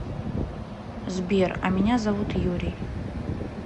сбер а меня зовут юрий